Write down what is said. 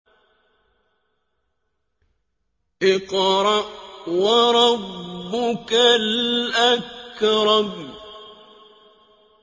اقْرَأْ وَرَبُّكَ الْأَكْرَمُ